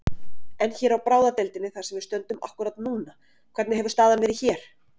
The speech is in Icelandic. En hér á bráðadeildinni þar sem við stöndum akkúrat núna, hvernig hefur staðan verið hér?